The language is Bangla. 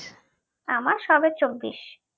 আমার সবে চব্বিশ